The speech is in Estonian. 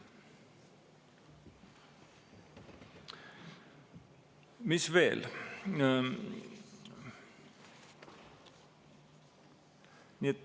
Mis veel?